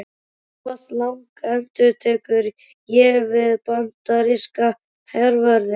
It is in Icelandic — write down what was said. Thomas Lang endurtek ég við bandaríska hervörðinn.